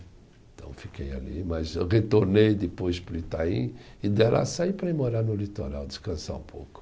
Então fiquei ali, mas eu retornei depois para o Itaim e de lá saí para ir morar no litoral, descansar um pouco.